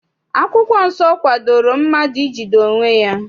Akwụkwọ nsọ kwadoro mmadụ ijide onwe ya.